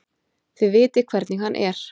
Þið vitið hvernig hann er.